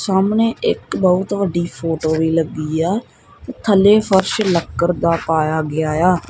ਸਾਹਮਣੇ ਇੱਕ ਬਹੁਤ ਵੱਡੀ ਫੋਟੋ ਵੀ ਲੱਗੀ ਆ ਥੱਲੇ ਫ਼ਰਸ਼ ਲੱਕੜ ਦਾ ਪਾਇਆ ਗਿਆ ਇਆ।